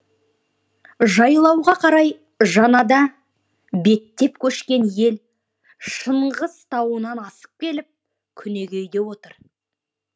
жайлауға қарай жаңада беттеп көшкен ел шыңғыс тауынан асып келіп күнегейде отыр